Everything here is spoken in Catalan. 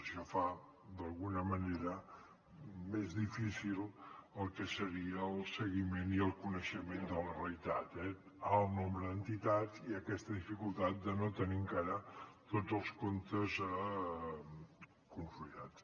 això fa d’alguna manera més difícil el que seria el seguiment i el coneixement de la realitat eh alt nombre d’entitats i aquesta dificultat de no tenir encara tots els comptes consolidats